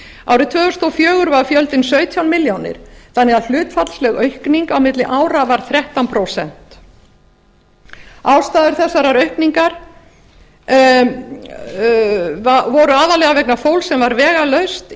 árið tvö þúsund og fjögur var fjöldinn sautján milljónir þannig að hlutfallsleg aukning á milli ára var þrettán prósent ástæður þessarar aukningar voru aðallega vegna fólks sem var vegalaust